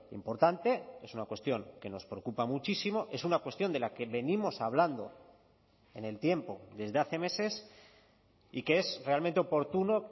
importante es una cuestión que nos preocupa muchísimo es una cuestión de la que venimos hablando en el tiempo desde hace meses y que es realmente oportuno